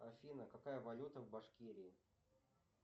афина какая валюта в башкирии